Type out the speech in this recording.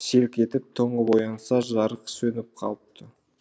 селк етіп тоңып оянса жарық сөніп қалыпты